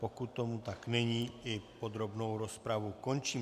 Pokud tomu tak není, i podrobnou rozpravu končím.